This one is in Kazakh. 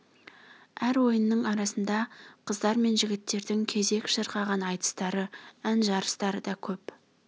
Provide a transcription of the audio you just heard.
әр ойынның арасында қыздар мен жігіттердің кезек шырқаған айтыстары ән жарыстары да көп